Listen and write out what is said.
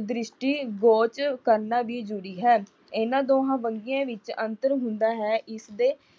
ਦ੍ਰਿਸ਼ਟੀ ਵਾਚ ਕਰਨਾ ਵੀ ਬਹੁਤ ਜ਼ਰੂਰੀ ਹੈ। ਇਨ੍ਹਾਂ ਦੋਹਾਂ ਵੰਨਗੀਆਂ ਵਿੱਚ ਅੰਤਰ ਹੁੰਦਾ ਹੈ ਇਸ ਦੇ